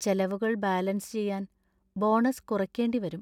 ചെലവുകൾ ബാലൻസ് ചെയ്യാൻ ബോണസ് കുറയ്ക്കേണ്ടി വരും..